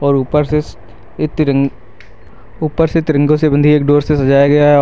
और ऊपर से श्श ए तिरंग ऊपर से तिरंगों से बंधी एक डोर से सजाया गया है औ --